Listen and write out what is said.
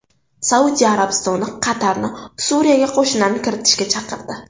Saudiya Arabistoni Qatarni Suriyaga qo‘shinlarni kiritishga chaqirdi.